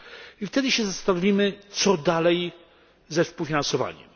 i wtedy się zastanowimy, co dalej ze współfinansowaniem.